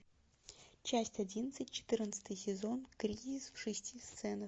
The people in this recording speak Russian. часть одиннадцать четырнадцатый сезон кризис в шести сценах